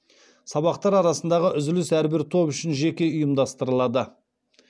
сабақтар арасындағы үзіліс әрбір топ үшін жеке ұйымдастырылады